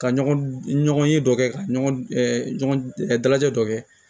Ka ɲɔgɔn ye dɔ kɛ ka ɲɔgɔn dalajɛ dɔ kɛ